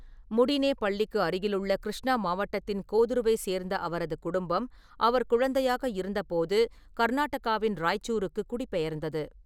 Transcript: முடினேபள்ளிக்கு அருகிலுள்ள கிருஷ்ணா மாவட்டத்தின் கோதுருவை சேர்ந்த அவரது குடும்பம் அவர் குழந்தையாக இருந்தபோது கர்நாடகாவின் ராய்ச்சூருக்கு குடிபெயர்ந்தது.